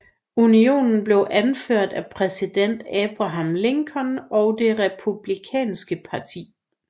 Unionen blev anført af præsident Abraham Lincoln og det Republikanske parti